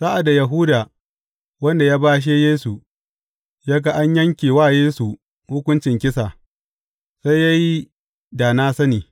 Sa’ad da Yahuda, wanda ya bashe Yesu, ya ga an yanke wa Yesu hukuncin kisa, sai ya yi da na sani.